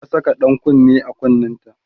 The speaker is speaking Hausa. ta Saka ɗan kunne a kunnenta